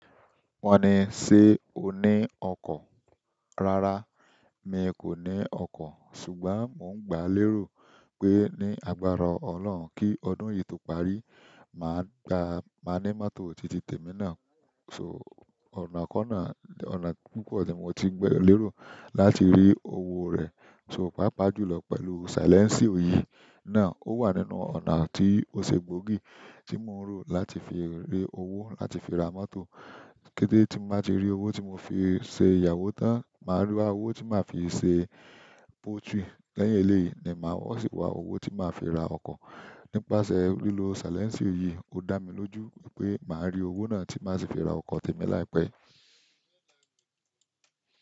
Wọ́n ní, ṣé o ní ọkọ̀? Rárá, mi kò ní ọkọ̀. Ṣùgbọ́n mò ń gbà lérò pé ní agbára Ọlọ́run kí ọdún yìí tó parí, màá gba, màá ní mọ́tò titi tèmi ná. So ọ̀nà kọ náà, ọ̀nà púpọ̀ ni mo ti ń gba lérò láti rí owó rẹ̀. So, pàápàá jùlọ pẹ̀lú silẹ́nsìo yìí náà. Ó wà nínú ọ̀nà tí ó ṣe gbòógì tí mò ń rò láti fi rí owó láti fi ra mọ́tò. Kétẹ́ tí n baa ti rí owó tí mò fi ṣe ìyàwó tán, màá wa owó tí màá fi ṣe poutry. Lẹ́yìn eléyìí ni màá wá sì wá owó tí màá fi ra ọkọ̀. Nípasẹ̀ lílo silẹ́nsì yìí, ó dá mi lójú wípé màá rí owó náà tí màá sì fi ra ọkọ̀ tèmi láìpẹ́.